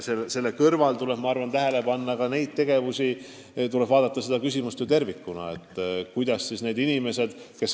Lisaks tuleb seda küsimust käsitleda tervikuna.